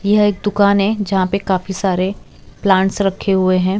यह एक दुकान है यहां पे काफी सारे प्लांट्स रखे हुए हैं।